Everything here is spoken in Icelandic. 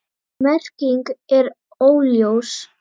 Merking er óljós.